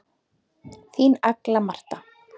Þín Agla Marta.